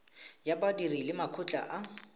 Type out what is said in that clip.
ya badiri le makgotla a